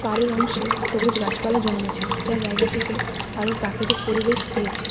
পাহাড়ের অংশে সবুজ গাছপালা জন্মেছে যা জায়গাটিকে আরও প্রাকৃতিক পরিবেশ দিয়েছে।